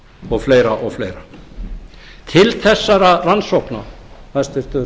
og fleiri og fleira til þessara rannsókna hæstvirtur